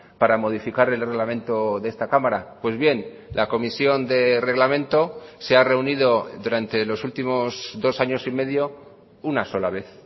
para modificar el reglamento de esta cámara pues bien la comisión de reglamento se ha reunido durante los últimos dos años y medio una sola vez